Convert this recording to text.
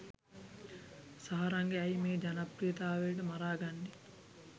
සාරංග ඇයි මේ ජනප්‍රියතාවයට මරාගන්නේ?.